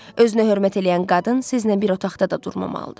Özünə hörmət eləyən qadın sizinlə bir otaqda da durmamalıdır.